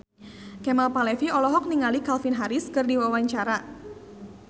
Kemal Palevi olohok ningali Calvin Harris keur diwawancara